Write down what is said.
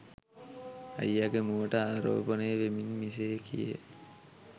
අයියාගේ මුවට ආරෝපනය වෙමින් මෙසේ කියයි.